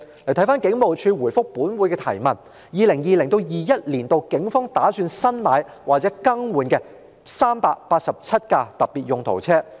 根據警務處就本會質詢而給予的答覆 ，2020-2021 年度警方打算新置或更換387輛特別用途車輛。